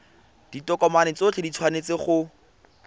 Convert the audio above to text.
ditokomane tsotlhe di tshwanetse go